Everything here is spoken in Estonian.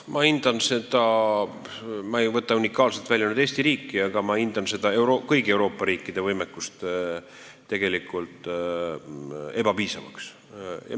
Ma ei võta nüüd unikaalselt välja Eesti riiki, ma hindan tegelikult kõigi Euroopa riikide võimekust ebapiisavaks.